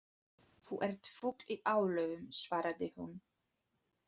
Þú ert fugl í álögum svaraði hún.